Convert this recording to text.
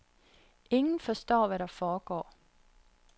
Ingen forstår, hvad der foregår.